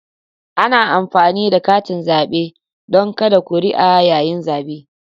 Ana amfani da katin zabe don kada kuri'a yayin zabe.